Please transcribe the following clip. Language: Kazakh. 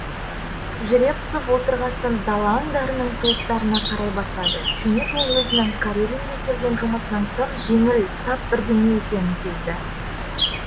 жеребцов отырғасын дала аңдарының тұлыптарына қарай бастады кенет ол өзінің карелинге келген жұмысының тым жеңіл тап бірдеңе екенін сезді